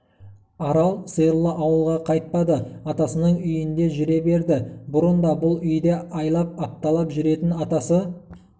арал сиырлы ауылға қайтпады атасының үйіңде жүре берді бұрын да бүл үйде айлап апталап жүретін атасы